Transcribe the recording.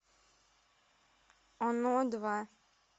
оно два